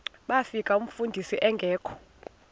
bafika umfundisi engekho